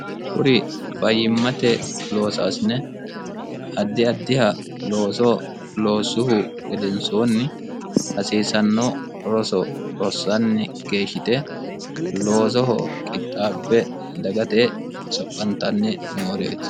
quri fayyimmate loosaasine addi addiha looso loossuhu gedensoonni hasiisanno roso rossanni geeshshite loosoho qixxaabbe dagate soqqantanni nooreeti